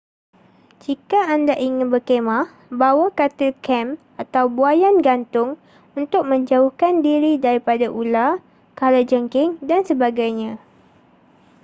jika anda ingin berkhemah bawa katil kem atau buaian gantung untuk menjauhkan diri daripada ular kala jengking dan sebagainya